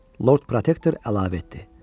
Lord Protektor əlavə etdi.